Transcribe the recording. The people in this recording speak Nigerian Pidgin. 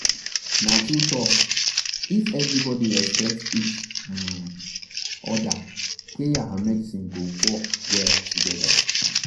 na true talk—if everybody respect each um other prayer and medicine go work well together.